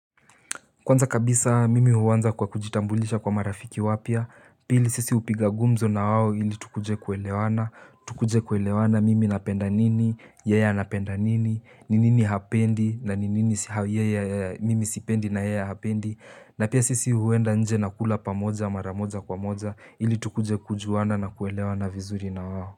Kwanza kabisa mimi huanza kwa kujitambulisha kwa marafiki wapya, pili sisi upiga gumzo na wawo ili tukuje kuelewana, tukuje kuelewana mimi napenda nini, yeye anapenda nini, ni nini hapendi na ni nini mimi sipendi na yeye hapendi, na pia sisi huenda nje na kula pamoja maramoja kwa moja ili tukuje kujuana na kuelewa na vizuri na wao.